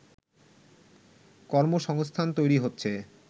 কর্মসংস্থান তৈরি হচ্ছে